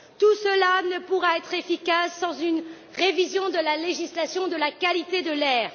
Tout cela ne pourra être efficace sans une révision de la législation sur la qualité de l'air.